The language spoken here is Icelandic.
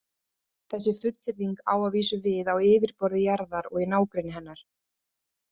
Þessi fullyrðing á að vísu við á yfirborði jarðar og í nágrenni hennar.